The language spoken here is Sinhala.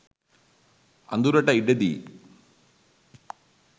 අඳුරට ඉඩදී